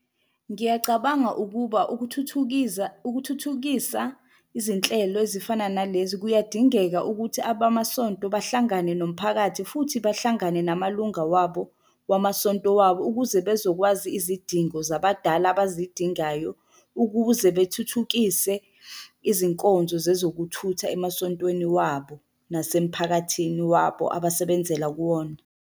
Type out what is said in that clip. Ngiyacabanga ukuba ukuthuthukiza ukuthuthukisa izinhlelo ezifana nalezi kuyadingeka ukuthi abamasonto bahlangane nomphakathi futhi bahlangane namalunga wabo wamasonto wabo ukuze bezokwazi izidingo zabadala abazidingayo, ukuze bethuthukise izinkonzo zezokuthutha emasontweni wabo, nasemphakathini wabo abasebenzela kuwona.